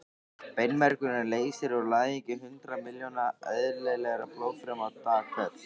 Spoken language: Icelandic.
Beinmergurinn leysir úr læðingi hundruð miljóna eðlilegra blóðfruma dag hvern.